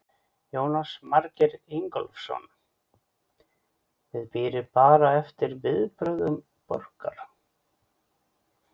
Jónas Margeir Ingólfsson: Þið bíðið bara eftir viðbrögðum borgar?